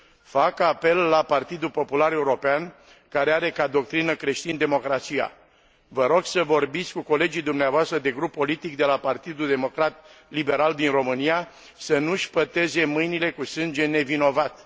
Fac apel la Partidul Popular European, care are ca doctrină creștin democrația vă rog să vorbiți cu colegii dumneavoastră de grup politic de la Partidul Democrat Liberal din România, să nu își păteze mâinile cu sânge nevinovat.